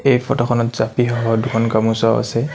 এই ফটোখনত জাপিসহ দুখন গামোচাও আছে।